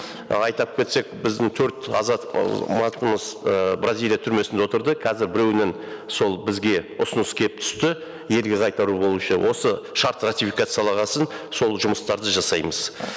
і айтып кетсек біздің төрт бразилия түрмесінде отырды қазір біреуінен сол бізге ұсыныс келіп түсті ерлі зайыптылар бойынша осы шарт ратификацияланған соң сол жұмыстрады жасаймыз